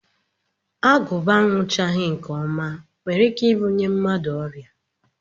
Agụba aṅụchaghị nke ọma nwere ike ibunye mmadụ ọrịa